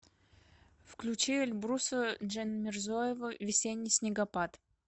включи эльбруса джанмирзоева весенний снегопад